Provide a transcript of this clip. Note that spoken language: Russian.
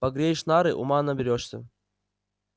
погреешь нары ума наберёшься